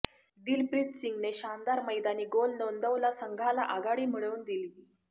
दिलप्रीत सिंगने शानदार मैदानी गोल नोंदवला संघाला आघाडी मिळवून दिली